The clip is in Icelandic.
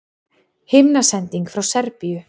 Himnasending frá Serbíu